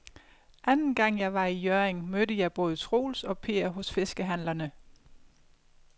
Anden gang jeg var i Hjørring, mødte jeg både Troels og Per hos fiskehandlerne.